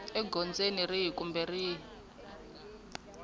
egondzweni rihi kumbe rihi kumbe